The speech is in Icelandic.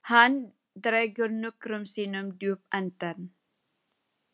Beníta, hvað er mikið eftir af niðurteljaranum?